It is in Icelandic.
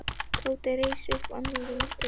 Tóti reis upp og andlitið lýsti undrun.